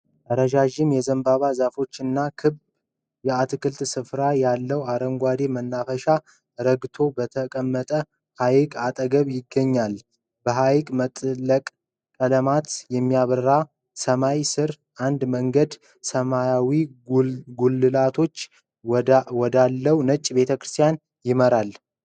ረዣዥም የዘንባባ ዛፎች እና ክብ የአትክልት ስፍራ ያለው አረንጓዴ መናፈሻ ረግቶ በተቀመጠ ሃይቅ አጠገብ ይገኛል። በፀሐይ መጥለቅ ቀለሞች በሚያበራ ሰማይ ስር አንድ መንገድ ሰማያዊ ጉልላቶች ወዳለው ነጭ ቤተክርስቲያን ይመራል።